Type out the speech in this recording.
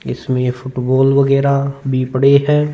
इसमें फुटबॉल वगैरह भी पड़े है।